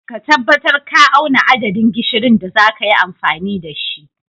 Ka tabbatar ka auna adadin gishirin da zaka yi amfani da shi.